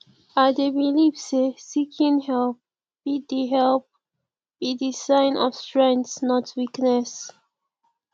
i dey believe say seeking help be di help be di sign of strength not weakness